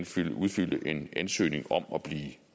skal udfylde en ansøgning om at blive